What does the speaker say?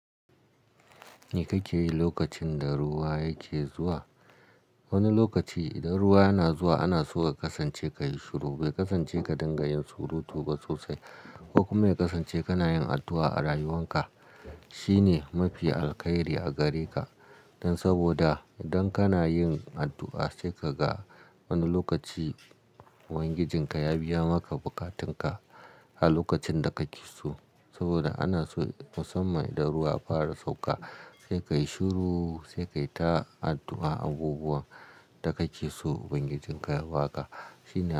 Me kake yi lokacin da ruwa yake zuwa? Wani lokaci idan ruwa yana zuwa ana so ka kasance kayi shiru. Bai kasance ka dinga yin surutu ba sosai, ko kuma ya kasance kana yin addu'a a rayuwan ka. Shine mafi alkhairi a gare ka. Dan saboda idan kana yin addu'a sai ka ga wani lokaci ubangijin ka ya biya maka buƙatun ka a lokacin da kake so. Saboda ana so musamman da ruwa ya fara sauka sai kayi shiru sai ka yi ta addu'a abubuwan da kake so ubangijin ka ya ba ka. Shine-